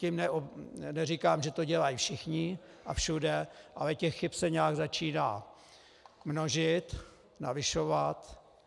Tím neříkám, že to dělají všichni a všude, ale těch chyb se nějak začíná množit, navyšovat.